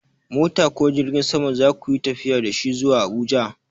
Mota ko jirgin sama za ku yi tafiya da shi zuwa Abuja?